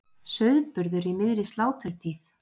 Sauðburður í miðri sláturtíð